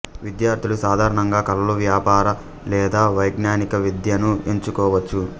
విద్యార్థులు సాధారణంగా కళలు వ్యాపార లేదా వైజ్ఞానిక విద్యను ఎంచుకోవచ్చు